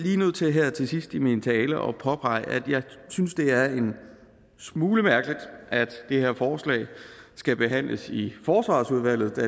jeg nødt til her til sidst i min tale at påpege at jeg synes det er en smule mærkeligt at det her forslag skal behandles i forsvarsudvalget den